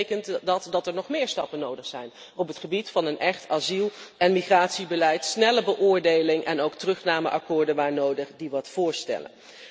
Dat betekent dat er nog meer stappen nodig zijn op het gebied van een echt asiel en migratiebeleid snelle beoordeling en ook terugnameakkoorden waar nodig die wat voorstellen.